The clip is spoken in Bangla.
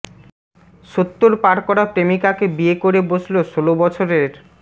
সত্তর পার করা প্রেমিকাকে বিয়ে করে বসল ষোলো বছরের